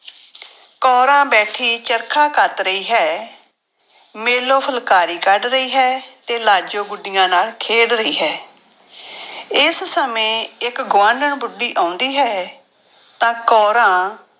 ਕੋਰਾਂ ਬੈਠੀ ਚਰਖਾ ਕੱਤ ਰਹੀ ਹੈ, ਮੇਲੋ ਫੁਲਕਾਰੀ ਕੱਢ ਰਹੀ ਹੈ ਤੇ ਲਾਜੋ ਗੁੱਡੀਆਂ ਨਾਲ ਖੇਡ ਰਹੀ ਹੈ ਇਸ ਸਮੇਂ ਇੱਕ ਗੁਆਂਢਣ ਬੁੱਢੀ ਆਉਂਦੀ ਹੈ ਤਾਂ ਕੋਰਾਂ